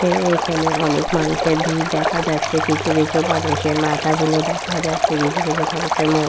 এ এখানে অনেক মানুষের ভিড় দেখা যাচ্ছে কিছু কিছু মানুষের মাথা গুলো দেখা যাচ্ছে কিছু কিছু মানুষের মু --